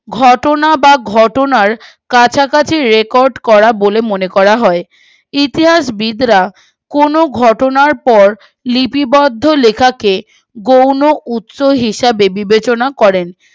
ঘটনা বা ঘটনায় কাছাকাছি রেকর্ড করা বলে মনে করা হয় ইতিহাসবিদরা কোনো ঘটনার পর লিপিবদ্ধ লেখাকে গৌণ উৎস হিসাবে বিবেচনা করেন